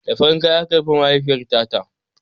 Da farin kaya aka binne mahaifiyarta ta